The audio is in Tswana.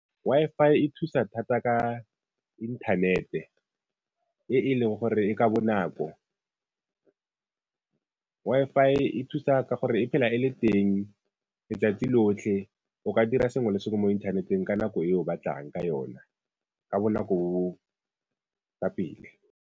Wi-Fi e thusa thata ka inthanete e e leng gore e ka bonako. Wi-Fi e thusa ka gore e phela e le teng letsatsi lotlhe o ka dira sengwe le sengwe mo inthaneteng ka nako e o batlang ka yona ka bonako bo bo ka pele.